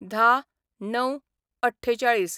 १०/०९/४८